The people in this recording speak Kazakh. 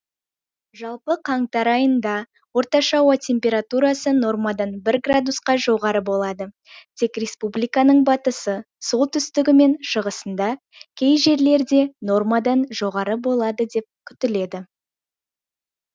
жалпы қаңтар айында орташа ауа температурасы нормадан бір градусқа жоғары болады тек республиканың батысы солтүстігі мен шығысында кей жерлерде нормадан жоғары болады деп күтіледі